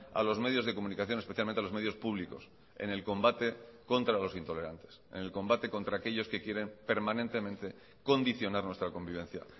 a los medios de comunicación especialmente a los medios públicos en el combate contra los intolerantes en el combate contra aquellos que quieren permanentemente condicionar nuestra convivencia